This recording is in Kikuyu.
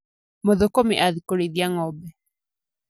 Mũthũkũmi athiĩ kũrĩithia ng'ombe.